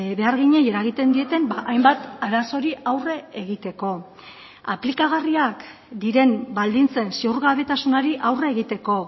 beharginei eragiten dieten hainbat arazori aurre egiteko aplikagarriak diren baldintzen ziurgabetasunari aurre egiteko